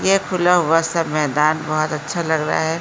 ये खुल हुआ सब मैदान बहुत अच्छा लग रहा है।